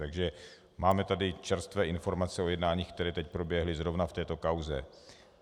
Takže máme tady čerstvé informace o jednáních, která teď proběhla zrovna v této kauze.